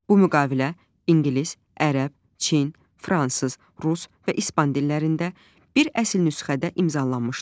Bu müqavilə ingilis, ərəb, çin, fransız, rus və ispan dillərində bir əsl nüsxədə imzalanmışdır.